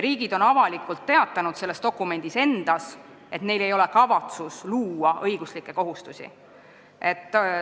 Riigid on ka avalikult selles dokumendis endas teatanud, et neil ei ole kavatsust õiguslikke kohustusi luua.